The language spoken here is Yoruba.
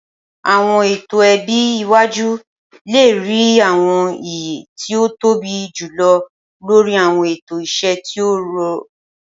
Awọn eto ẹbi iwaju le rii awọn iye ti o tobi julọ lori awọn eto iṣẹ ti o rọ.